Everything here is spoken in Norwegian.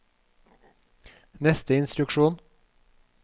neste instruksjon